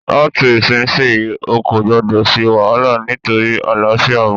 Láti ìsinsìyí, o kò gbọdọ̀ se wàhálà nítorí àlàáfíà ọmọ